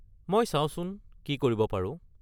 মই চাওঁচোন কি কৰিব পাৰোঁ।